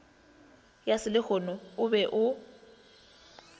ya selehono o be o